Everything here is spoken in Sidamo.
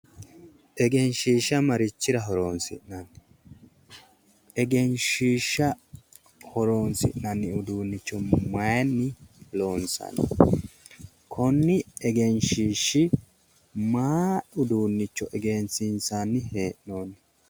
Egenshiishsha marichira horonsi'nanni? Egenshiishsha horinsi'nanni uduunnicho mayinni loonsanni? Konni egenshshiishshi mayi uduunnicho egensiinsanni hee'noonni?